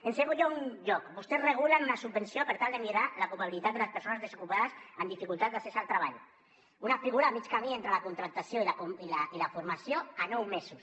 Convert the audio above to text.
en segon lloc vostès regulen una subvenció per tal de millorar l’ocupabilitat de les persones desocupades amb dificultats d’accés al treball una figura a mig camí entre la contractació i la formació a nou mesos